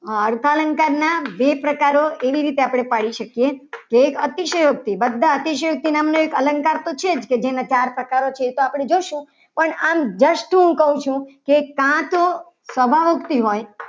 આર્થન અર્થાલંકારના બે પ્રકારો આપણે એવી રીતે પાડી શકીએ. કે એક અતિશયોક્તિ બધા અતિશયોક્તિ નામનો એક અલંકાર તો છે. જ જેના ચાર પ્રકારો છે. એ તો આપણે જોશું. જ પણ આમ વસ્તુ કહું છે. કે કાં તો